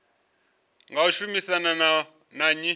nga u shumisana na nnyi